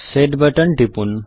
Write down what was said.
set button টিপুন